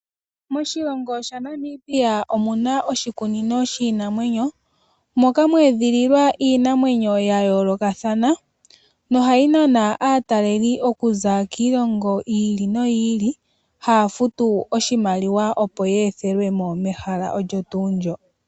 Moshilongo shaNamibia omuna oshikunino shiinamwenyo moka mwedhililwa iinamwenyo ya yo lokathana noha yi nana aatalelipo oku za kiilongo yi ili no yi ili, haya futu odhimaliwa opo ye ethelwemo mehala olyo tu ndyoka.